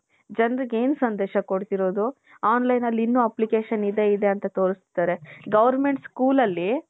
ಜನರಿಗ್ ಎನ್ ಸಂದೇಶ ಕೊಡ್ತಿರೋದು online ಅಲ್ಲಿ ಇನ್ನು application ಇನ್ನು ಇದೆ ಇದೆ ಅಂತ ತೋರಸ್ತಾರೆ . goverment school ಅಲ್ಲಿ .